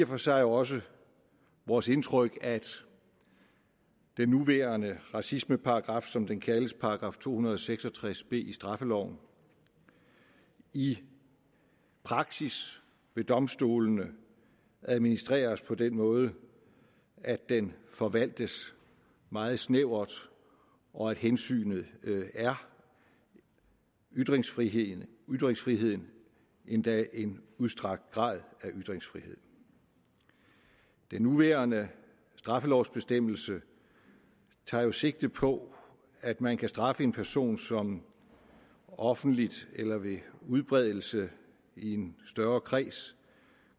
for sig også vores indtryk at den nuværende racismeparagraf som den kaldes altså § to hundrede og seks og tres b i straffeloven i praksis ved domstolene administreres på den måde at den forvaltes meget snævert og at hensynet er ytringsfriheden ytringsfriheden endda en udstrakt grad af ytringsfrihed den nuværende straffelovsbestemmelse tager jo sigte på at man kan straffe en person som offentligt eller ved udbredelse i en større kreds